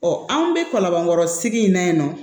anw bɛ kɔlɔnkɔrɔ sigi in na yen nɔ